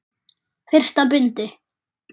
Fyrsta bindi.